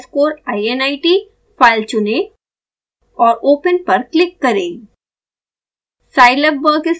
ser underscore init file चुनें और open पर क्लिक करें